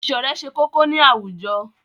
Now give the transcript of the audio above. Ìṣọ̀rẹ́ ṣe kókó ní àwùjọ.